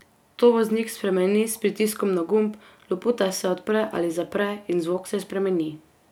To voznik spremeni s pritiskom na gumb, loputa se odpre ali zapre in zvok se spremeni.